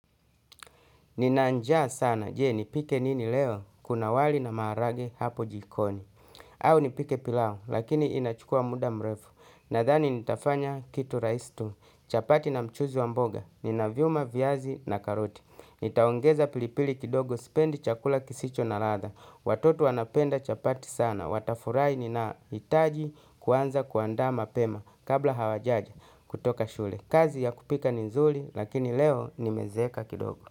Nina njaa sana jee nipike nini leo kuna wali na maharagwe hapo jikoni. Au nipike pilau lakini inachukua muda mrefu. Nadhani nitafanya kitu rahisi tu. Chapati na mchuzi wa mboga ninavyuma viazi na karoti. Nitaongeza pilipili kidogo sipendi chakula kisicho na ladha. Watoto wanapenda chapati sana. Watafurahi nina itaji kuanza kuandaa mapema. Kabla hawajaja kutoka shule kazi ya kupika nizuri lakini leo nimezeeka kidogo.